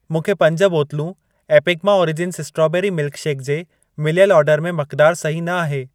मूंखे पंज बोतलूं एपिगमा ओरिजिन्स स्ट्रॉबेरी मिल्कशेकु जे मिलियल ऑर्डर में मक़दार सही न आहे।